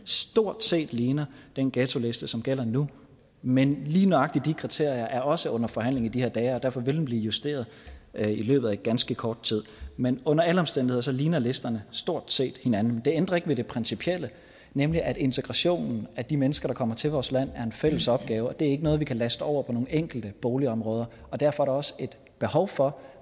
stort set ligner den ghettoliste som gælder nu men lige nøjagtig de kriterier er også under forhandling i de her dage og derfor vil den blive justeret i løbet af ganske kort tid men under alle omstændigheder ligner listerne stort set hinanden det ændrer ikke ved det principielle nemlig at integrationen af de mennesker der kommer til vores land er en fælles opgave det er ikke noget vi kan laste over på nogle enkelte boligområder og derfor er der også et behov for